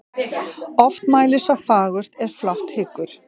Oft mælir sá fagurt er flátt hyggur.